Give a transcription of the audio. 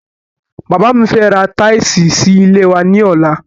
Bàbá mi fẹ́ ra tíìsì sí ilé wa ní ọlá